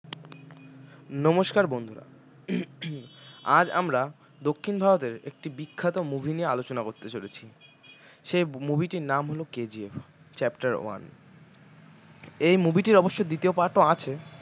নমস্কার বন্ধুরা আজ আমরা দক্ষিণ ভারতের একটি বিখ্যাত movie নিয়ে আলোচনা করতে চলেছি সেই movie টির নাম হল KGF chapter one এই movie টির অবশ্য দ্বিতীয় part ও আছে